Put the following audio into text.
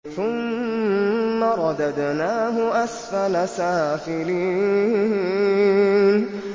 ثُمَّ رَدَدْنَاهُ أَسْفَلَ سَافِلِينَ